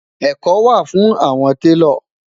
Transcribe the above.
ẹkọ wà fún awọn talo